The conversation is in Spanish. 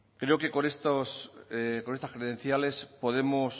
creo que con estas credenciales podemos